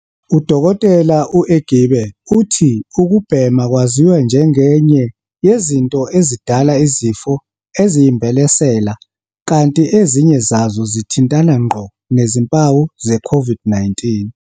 U-Dkt. u-Egbe uthi ukubhema kwaziwa njengenye yezinto ezidala izifo eziyimbelesela kanti ezinye zazo zithintana ngqo nezimpawu ze-COVID-19.